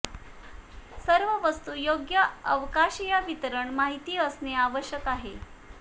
सर्व वस्तू योग्य अवकाशीय वितरण माहिती असणे आवश्यक आहे